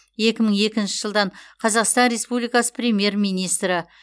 екі мың екінші жылдан қазақстан республикасы премьер министрі